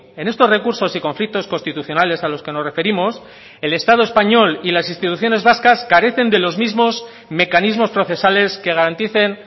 en estos recursos y conflictos constitucionales a los que nos referimos el estado español y las instituciones vascas carecen de los mismos mecanismos procesales que garanticen